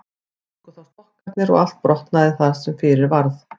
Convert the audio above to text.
Gengu þá frá stokkarnir og allt brotnaði það sem fyrir varð.